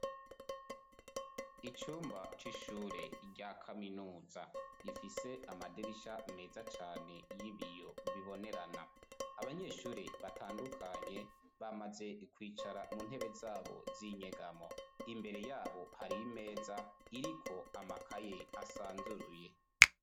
icumba c'ishure rya kaminuza ifise amadirisha meza cane y'ibiyo bibonerana abanyeshuri batandukanye bamaze kwicara mu ntebe zabo z'inyegamo imbere yabo hari meza iriko amakaye asanzuruye.